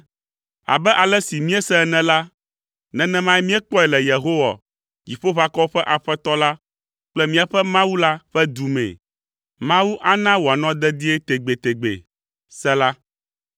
Abe ale si míese ene la, nenemae míekpɔe le Yehowa, Dziƒoʋakɔwo ƒe Aƒetɔ la kple míaƒe Mawu la ƒe du mee. Mawu na wòanɔ dedie tegbetegbe. Sela